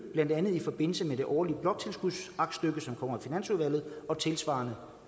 blandt andet i forbindelse med det årlige bloktilskudsaktstykke som kommer i finansudvalget og tilsvarende